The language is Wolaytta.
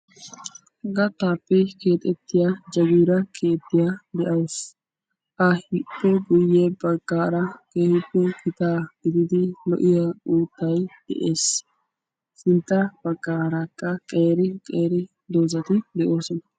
Gattaappe keexettiyaa jaagira keettiyaa de'awus. ippe guye baggaara keehippe gitaa gididi lo"iyaa uuttay de'ees. sintta baggarakka qeeri qeeri doozati de'oosona.